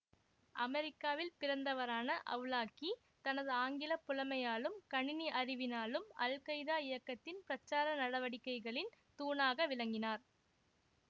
அமெரிக்காவில் பிறந்தவரான அவ்லாகி தனது ஆங்கில புலமையாலும் கணினி அறிவினாலும் அல்கைதா இயக்கத்தின் பிரச்சார நடவடிக்கைகளின் தூணாக விளங்கினார்